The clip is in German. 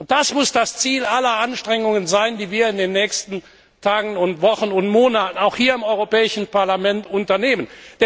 Das muss das Ziel aller Anstrengungen sein, die wir in den nächsten Tagen, Wochen und Monaten, auch hier im Europäischen Parlament, unternehmen.